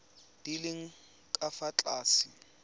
di leng ka fa tlase